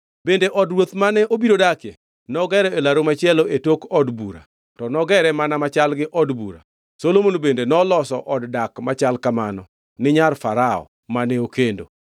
Bende od ruoth mane obiro dakie nogero e laru machielo e tok od bura to nogere mana machal gi od bura, Solomon bende noloso od dak machal kamano ni nyar Farao mane okendo.